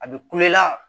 A bɛ kule la